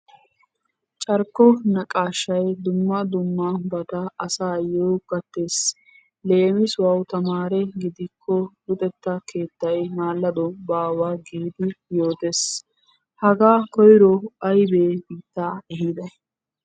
Carkko naqaashay dumma dummabata asaayyo gattes. Leemisuwawu tamaare gidikko luxetta keettay maallado baawa giidi yootes. Hagaa koyro maybe biittaa ehiday?